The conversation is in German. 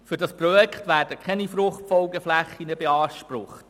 Für das Projekt werden keine Fruchtfolgeflächen beansprucht.